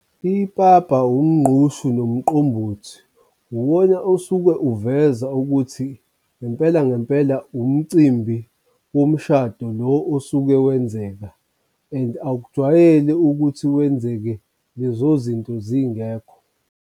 Ipapa, wumngqushu nomqombothi uwona osuke uveza ukuthi ngempela ngempela umcimbi womshado lo osuke wenzeka and akujwayele ukuthi wenzeke lezo zinto zingekho.